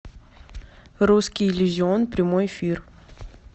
русский иллюзион прямой эфир